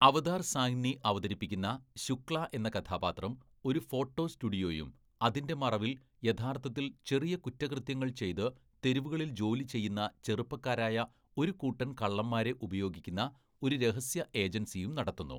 അവതാര്‍ സാഹ്നി അവതരിപ്പിക്കുന്ന ശുക്ല എന്ന കഥാപാത്രം ഒരു ഫോട്ടോ സ്റ്റുഡിയോയും അതിൻ്റെ മറവിൽ യഥാർത്ഥത്തിൽ ചെറിയ കുറ്റകൃത്യങ്ങൾ ചെയ്ത് തെരുവുകളിൽ ജോലി ചെയ്യുന്ന ചെറുപ്പക്കാരായ ഒരു കൂട്ടം കള്ളന്മാരെ ഉപയോഗിക്കുന്ന ഒരു രഹസ്യ ഏജൻസിയും നടത്തുന്നു.